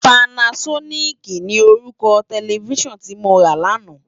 Pànásònikí ni órúkò tèlèfisán ti mó rá làná